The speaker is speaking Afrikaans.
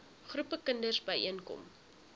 groepe kinders byeenkom